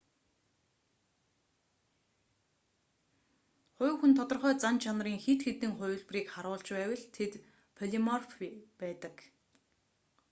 хувь хүн тодорхой зан чанарын хэд хэдэн хувилбарыг харуулж байвал тэд полиморф байдаг